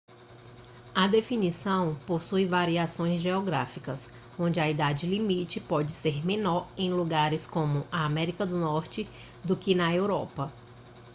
a definição possui variações geográficas onde a idade limite pode ser menor em lugares como a américa do norte do que na europa